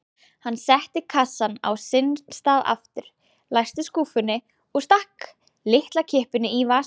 Hann setti kassann á sinn stað aftur, læsti skúffunni og stakk lyklakippunni í vasann.